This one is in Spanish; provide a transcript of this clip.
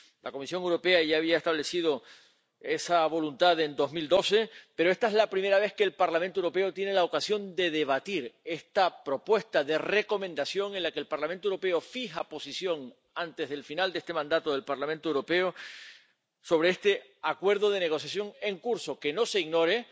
La Comisión Europea ya había establecido esa voluntad en 2012, pero esta es la primera vez que el Parlamento Europeo tiene la ocasión de debatir esta propuesta de Recomendación en la que el Parlamento Europeo fija su posición, antes del final de esta legislatura, sobre este acuerdo de negociación en curso que —no se ignore—